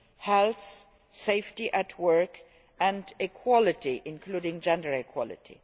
health, safety at work and equality, including gender equality.